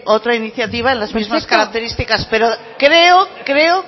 otra iniciativa en las mismas características pero creo creo